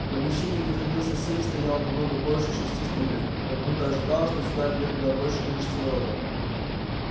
в помещении где хранился сейф стояло намного больше шести стульев как будто ожидалось что сюда придёт куда большее количество народа